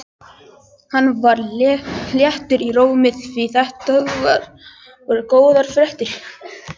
Hann var léttur í rómi því þetta voru góðar fréttir.